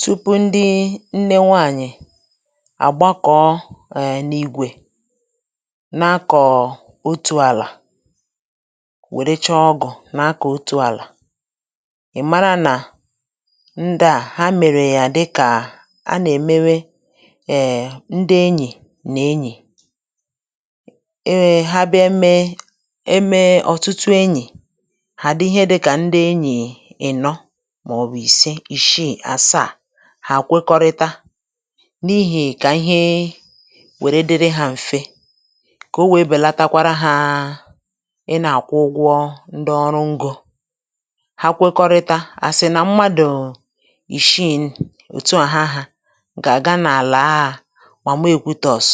Tupu ndi nne nwaànyị̀ àgbakọ̀ eee n’igwė, na-akọ̀ otù àlà, wère chọọ ọgụ̀ na-akọ̀ otù àlà. ị̀ mara nà ndi à, ha mèrè ya di kà a nà-èmewe eee ndi enyì nà enyì. Eme ha bịa mme, e mee ọ̀tụtụ enyì hà di ihe dịkà ndi enyì ị̀nọ màọbụ isė, isiị, àsaa, hà à kwekọrịta, n’ihì kà ihe wère diri hȧ m̀fe, kà o wèe bèlatakwara hȧ ị nà-àkwụ ụgwọ ndi ọrụ ngȯ. Ha kwekọrịta à sì nà mmadụ̀[um]ìshii̇ òtuà ha hȧ, gà-àga n’àlà ȧ Màmà Ekwutors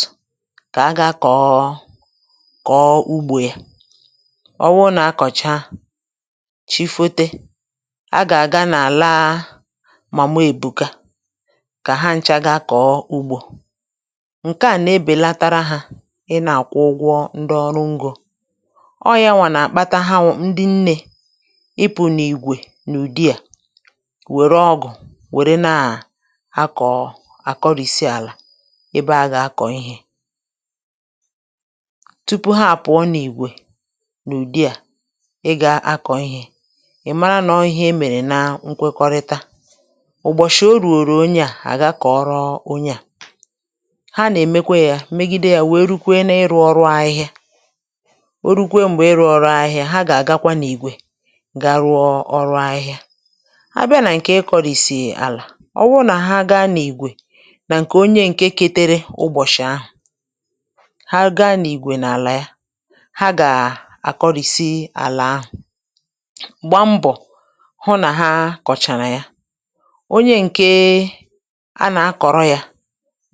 kà aga kọ̀ọ kọ̀ọ ugbȯ ya. ọ wụrụ nà akọ̀cha, chi fote, ha gà aga n'àla Mama Ebụka, kà ha nchȧ ga kọ̀ọ ugbȯ. Nkè à nà-ebèlatara hȧ, ị nà-àkwụ ụgwọ ndị ọrụ ngȯ. ọ yȧ wà nà-àkpata hȧwọ̀ ndị nnė ịpụ̇ n’ìgwè n’ụ̀dị à, wère ọgụ̀ wère na-akọ̀ọ àkọrìsi àlà ebe a gà-akọ̀ ihė. Tupu ha pụ̀ọ ọ n’ìgwè n’ụ̀dị à ị gȧ akọ̀ ị̀hị̀a, ị̀ mara nà ọ ihe emèrè na nkwekọrịta. ụ̀bọ̀chị̀ o rùrù onye à, àga kọ̀ ọrọ onye à. Ha nà-èmekwa yȧ, megide yȧ wèe rukwe n’ịrụ̇ ọrụ ahịhịa. O rukwe m̀gbè ịrụ̇ ọrụ ahịhịa, ha gà-àgakwa n’ìgwè ga ruọ ọrụ ahịhịa. A bịa nà ǹkè ịkọ̀rìsì àlà, ọ wụ nà ha gaa n’ìgwè, nà ǹkè onye ǹke ketere ụbọ̀chị̀ ahụ̀, ha gaa n’ìgwè n’àlà ya, ha gà àkọrìsì àlà ahụ̀, gba mbọ̀ hu na ha kọchaàrà yà. Onye ǹke a nà-akọ̀rọ̀ ya,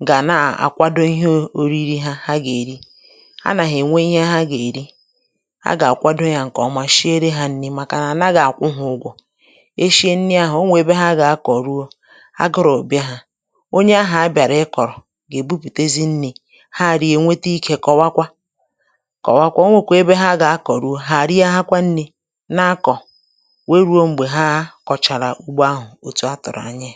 gà nà-àkwado ihe ȯ oriri ha, ha gà-èri. Hà nà ha ènwe ihe ha gà-èri. A gà-àkwado ya ǹkè ọma, shiere ha nni̇ màkà nà, à nà gàhi àkwụ hȧ ugwò. Eshie nni ahụ̀, onwe ebe ha gà-akọ̀rọ̀ ruo, agụrọ̀ bia ha, onye ahụ̀ a bị̀àrà ị kọ̀rọ̀ gà-èbupùtezi nni̇, ha rịè nwete ikė kọ̀wakwa, kọ̀wakwa. Onwe kwèrè ebe ha gà-akọ̀ ruo, hà àrịè a akwa nni̇ nȧkọ̀, wee ruo m̀gbè ha a kọ̀chàrà ugbo ahụ̀ ọ̀ chọọ tụrụ anyi.